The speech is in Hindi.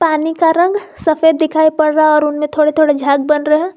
पानी का रंग सफेद दिखाई पड़ रहा है और उनमें थोड़े थोड़ झाग बना रहे हैं।